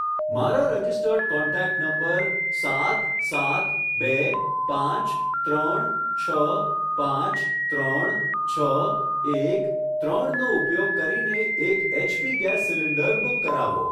મારા registered contact number સાત સાત બે પાંચ ત્રણ છ પાંચ ત્રણ છ એક ત્રણ નો ઉપયોગ કરીને એક એચપી ગેસ સીલિન્ડર બુક કરાવો.